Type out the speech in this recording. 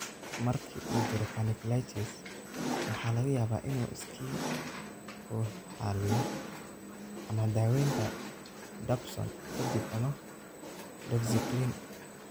Marka uu jiro, panniculitis waxa laga yaabaa inuu iskii u xalliyo ama daawaynta dapsone ka dib ama doxycycline.